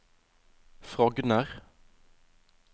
Frogner